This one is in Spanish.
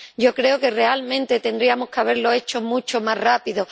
yo creo que realmente tendríamos que haberlo hecho mucho más rápido.